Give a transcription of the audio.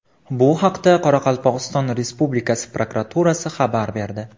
Bu haqda Qoraqalpog‘iston Respublikasi prokuraturasi xabar berdi .